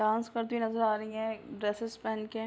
Dance करती हुई नज़र आ रही हैं ड्रेस्सेस पेहेन के।